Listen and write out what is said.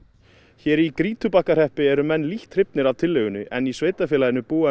hér í Grýtubakkahreppi eru menn lítt hrifnir af tillögunni en í sveitarfélaginu búa